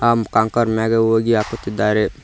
ಆ ಕಂಕರ್ ಮ್ಯಾಗೆ ಹೋಗಿ ಹಾಕುತ್ತಿದ್ದಾರೆ.